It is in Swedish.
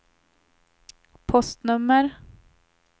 postnummer